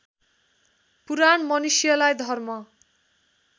पुराण मनुष्यलाई धर्म